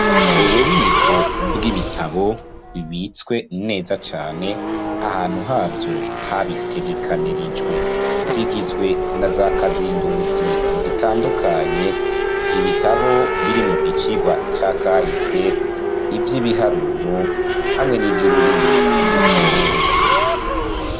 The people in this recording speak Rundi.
Ububiko bwibitabo bibitswe neza cane ahantu havyo habitegekanirijwe bigizwe naza kazinduzi zitandukanye, ibitabu birimwo icigwa ca kahise, ivyibiharuro hamwe nivyururimi rw'ikirundi.